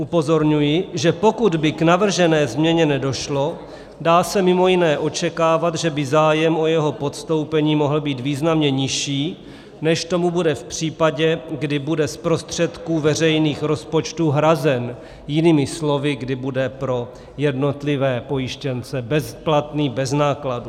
Upozorňuji, že pokud by k navržené změně nedošlo, dá se mimo jiné očekávat, že by zájem o jeho podstoupení mohl být významně nižší, než tomu bude v případě, kdy bude z prostředků veřejných rozpočtů hrazen, jinými slovy kdy bude pro jednotlivé pojištěnce bezplatný, bez nákladů.